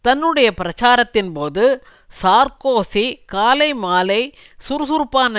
தன்னுடைய பிரச்சாரத்தின்போது சார்க்கோசி காலை மாலை சுறுசுறுப்பான